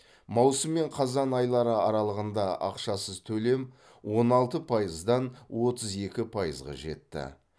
маусым мен қазан айлары аралығында ақшасыз төлем он алты пайыздан отыз екі пайызға жетті